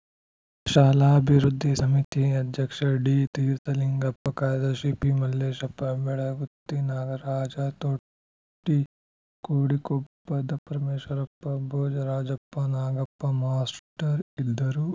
ಶಾಲಾಭಿವೃದ್ಧಿ ಸಮಿತಿ ಅಧ್ಯಕ್ಷ ಡಿತೀರ್ಥಲಿಂಗಪ್ಪ ಕಾರ್ಯದರ್ಶಿ ಪಿಮಲ್ಲೇಶಪ್ಪ ಬೆಳಗುತ್ತಿ ನಾಗರಾಜ ತೊಟ್ಟಿ ಕೋಡಿಕೊಪ್ಪದ ಪರಮೇಶ್ವರಪ್ಪ ಭೋಜರಾಜಪ್ಪ ನಾಗಪ್ಪ ಮಾಸ್ತರ್‌ ಇದ್ದರು